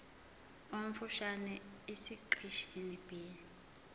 omfushane esiqeshini b